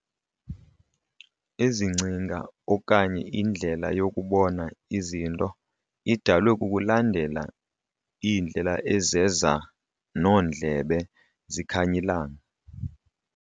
Ezi ngcinga okanye indlela yokubona izinto idalwe kukulandela iindlela ezeza noondlebe zikhanyilanga.